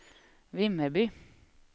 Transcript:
Vimmerby